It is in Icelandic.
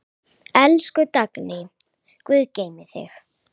Elsku Dagný, Guð geymi þig.